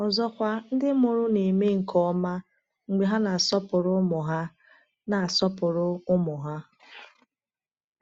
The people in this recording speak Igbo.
Ọzọkwa, ndị mụrụ na-eme nke ọma mgbe ha na-asọpụrụ ụmụ ha na-asọpụrụ ụmụ ha.